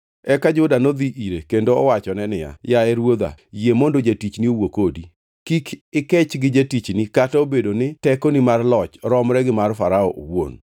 Eka Juda nodhi ire kendo owachone niya, “Yaye ruodha, yie mondo jatichni owuo kodi. Kik ikech gi jatichni kata obedo ni tekoni mar loch romre gi mar Farao owuon.